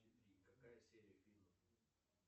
какая серия фильма